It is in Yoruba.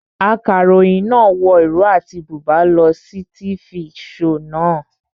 Akaròyìn náà wọ ìró àti bùbá lọ sí tifi shoò naa